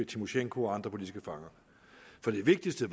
tymosjenko og andre politiske fanger det vigtigste